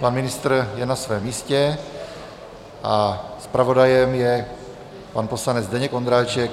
Pan ministr je na svém místě a zpravodajem je pan poslanec Zdeněk Ondráček.